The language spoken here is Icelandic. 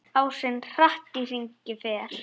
Ásinn hratt í hringi fer.